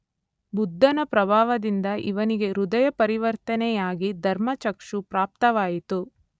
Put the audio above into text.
ಬುದ್ಧನ ಪ್ರಭಾವದಿಂದ ಇವನಿಗೆ ಹೃದಯಪರಿವರ್ತನೆಯಾಗಿ ಧರ್ಮಚಕ್ಷು ಪ್ರಾಪ್ತವಾಯಿತು.